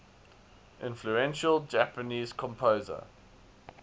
influential japanese composer